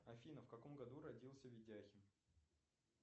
афина в каком году родился видяхин